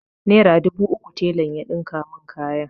Nera dubu uku telan ya ɗinka mun kayan.